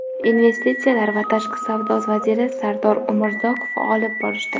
investitsiyalar va tashqi savdo vaziri Sardor Umurzoqov olib borishdi.